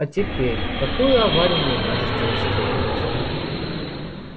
а теперь какую аварию вы можете устроить